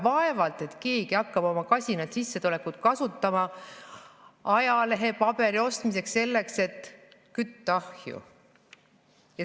Vaevalt, et keegi hakkab oma kasinat sissetulekut kasutama ajalehepaberi ostmiseks, et kütta ahju.